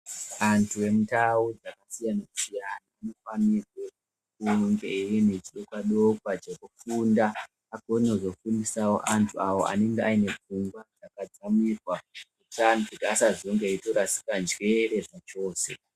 Antu emundau dzakasiyana-siyana anofanirwe kunge aine chidokwa-dokwa chekufunda agone kuzofundisawo antu awo anenge aine pfungwa dzakadzamirwa asazenge eitorasika njere zvachose.